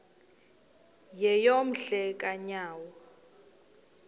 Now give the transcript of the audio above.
yeyom hle kanyawo